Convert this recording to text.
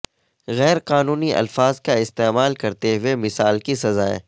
غیر قانونی الفاظ کا استعمال کرتے ہوئے مثال کی سزائیں